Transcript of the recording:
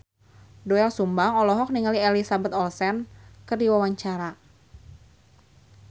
Doel Sumbang olohok ningali Elizabeth Olsen keur diwawancara